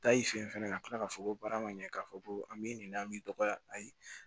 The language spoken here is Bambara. Taa i fɛ yen fɛnɛ ka tila k'a fɔ ko baara ma ɲɛ k'a fɔ ko an b'i ɲininka an b'i dɔgɔya ayi